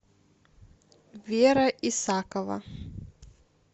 вера исакова